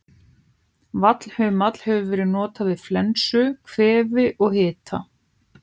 Vallhumall hefur verið notaður við flensu, kvefi og hita.